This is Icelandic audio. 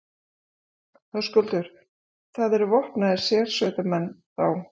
Höskuldur: Það eru vopnaðir sérsveitarmenn, þá?